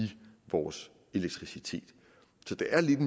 vores elektricitet så det er lidt af